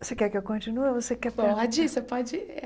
Você quer que eu continue ou você quer perguntar? pode você pode